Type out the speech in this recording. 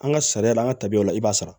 An ka sariya la an ka tabiyaw la i b'a sara